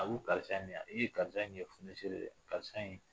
A ko karisa ye nin ye e karisa in ye fonisere ye dɛ karisa in